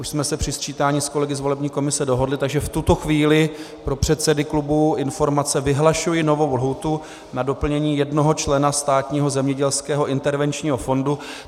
Už jsme se při sčítání s kolegy z volební komise dohodli, takže v tuto chvíli pro předsedy klubů informace: vyhlašuji novou lhůtu na doplnění jednoho člena Státního zemědělského intervenčního fondu.